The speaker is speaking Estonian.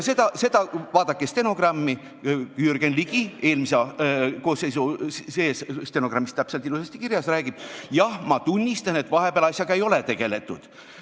Vaadake stenogrammi, seal on ilusasti kirjas, kuidas Jürgen Ligi eelmise koosseisu ajal räägib: "Jah, ma tunnistan, et vahepeal asjaga ei ole tegeletud.